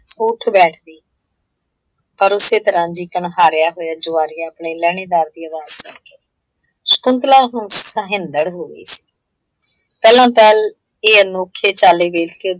ਉਹ ਉੱਠ ਬੈਠਦੀ। ਪਰ ਉਸੇ ਤਰ੍ਹਾਂ ਜੀਕਣ ਹਾਰਿਆ ਹੋਇਆ ਜੁਆਰੀ ਆਪਣੇ ਲਹਿਣੇਦਾਰ ਦੀ ਅਵਾਜ਼ ਸੁਣ ਕੇ। ਸ਼ਕੁੰਤਲਾ ਹੁਣ ਸੋਹਿੰਦੜ੍ਹ ਹੋ ਗਈ ਸੀ, ਪਹਿਲਾਂ ਤਾਂ ਇਹ ਅਨੋਖੇ ਚਾਲੇ ਵੇਖਕੇ